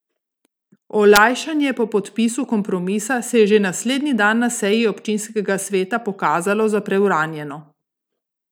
Olajšanje po podpisu kompromisa se je že naslednji dan na seji občinskega sveta pokazalo za preuranjeno.